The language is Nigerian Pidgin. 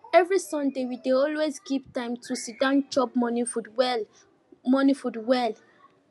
every sunday we dey always keep time to siddon chop morning food well morning food well